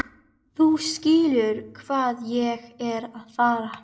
Þú skilur hvað ég er að fara.